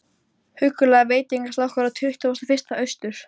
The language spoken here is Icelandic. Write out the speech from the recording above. Tommi og Höskuldur litu undan og ranghvolfdu augunum.